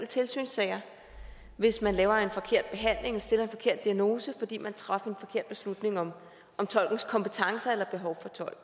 tilsynssager hvis man laver en forkert behandling stiller en forkert diagnose fordi man traf en forkert beslutning om tolkens kompetencer eller behov